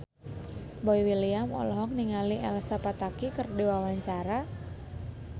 Boy William olohok ningali Elsa Pataky keur diwawancara